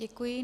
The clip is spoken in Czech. Děkuji.